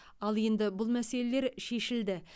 ал енді бұл мәселелер шешілді